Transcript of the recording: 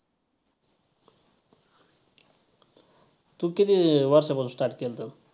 तू किती वर्षापासून start केलतं?